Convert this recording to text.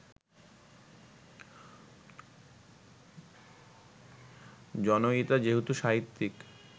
জনয়িতা যেহেতু সাহিত্যিক